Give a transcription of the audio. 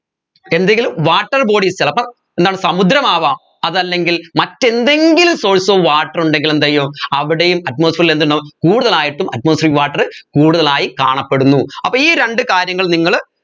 എന്തെങ്കിലും water bodies ചിലപ്പോ എന്താണ് സമുദ്രമാവാം അതല്ലെങ്കിൽ മറ്റെന്തെങ്കിലും source of water ഉണ്ടെങ്കിൽ എന്ത് ചെയ്യും അവിടെയും atmosphere ൽ എന്തുണ്ടാവും കൂടുതലായിട്ടും atmospheric water കൂടുതലായി കാണപ്പെടുന്നു അപ്പോ ഈ രണ്ട് കാര്യങ്ങൾ നിങ്ങൾ